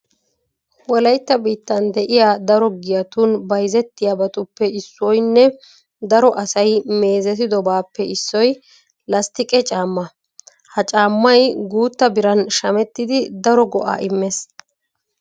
Wolaytta biittan de'iya daro giyatun bayzettiyabatuppe issoynne daro asay meezetidobaappe issoy lasttiqe caammaa. Ha caammay guutta biran shamettidi daro go"aa immees.